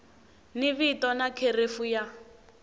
ni vito na kherefu ya